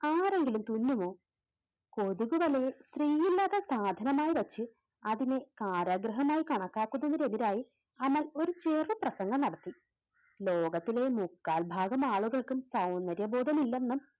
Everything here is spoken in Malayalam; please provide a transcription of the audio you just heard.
ആരെങ്കിലും തുന്നുമോ കൊതുകു വലയെ സാധനമായി വെച്ച് അതിനെ കാരാഗ്രഹമായി കണക്കാക്കുന്നതിനെതിരായി അമൽ ഒരു ചെറു പ്രസംഗം നടത്തി. ലോകത്തിലെ മുക്കാൽ ഭാഗം ആളുകൾക്കും സൗന്ദര്യബോധം ഇല്ലെന്നും